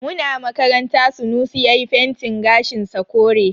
Muna makaranta Sunusi yayi fentin gashin sa kure.